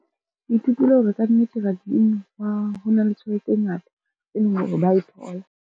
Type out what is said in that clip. Ke ithutile hore kannete rugby-ing ho na le tjhelete e ngata e leng hore ba e thola.